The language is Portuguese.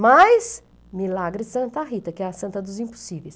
Mas, milagre Santa Rita, que é a santa dos impossíveis.